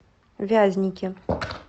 вязники